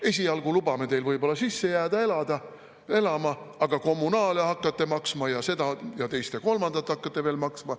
Esialgu lubame teil võib-olla sisse jääda elama, aga kommunaale hakkate maksma ja seda ja teist ja kolmandat hakkate veel maksma.